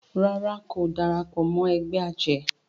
ràrá kò darapọ̀ mọ ègbé ajé.